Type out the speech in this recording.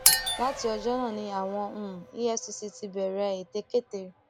láti ọjọ náà ni àwọn um efcc ti bẹrẹ ètekéte